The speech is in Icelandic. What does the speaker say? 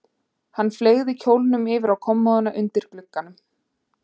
Hann fleygði kjólnum yfir á kommóðuna undir glugganum.